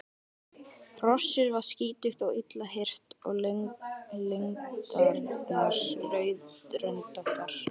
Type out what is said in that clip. Hrossið var skítugt og illa hirt og lendarnar rauðröndóttar.